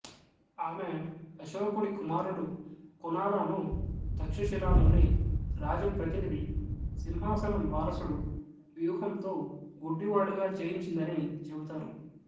ఆమె అశోకుడి కుమారుడు కునాలాను తక్షశిలాలోని రాజప్రతినిధి సింహాసనం వారసుడు వ్యూహంతో గుడ్డివాడుగా చేయించిందని చెబుతారు